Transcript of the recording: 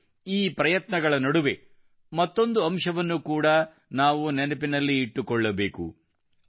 ಮತ್ತು ಈ ಪ್ರಯತ್ನಗಳ ನಡುವೆ ಮತ್ತೊಂದು ಅಂಶವನ್ನು ಕೂಡಾ ನಾವು ನೆನಪಿನಲ್ಲಿ ಇಟ್ಟುಕೊಳ್ಳಬೇಕು